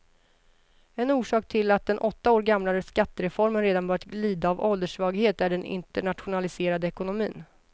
En orsak till att den åtta år gamla skattereformen redan börjar lida av ålderssvaghet är den internationaliserade ekonomin.